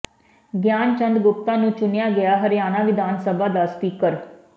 ਗਿਆਨਚੰਦ ਗੁਪਤਾ ਨੂੰ ਚੁਣਿਆ ਗਿਆ ਹਰਿਆਣਾ ਵਿਧਾਨ ਸਭਾ ਦਾ ਸਪੀਕਰ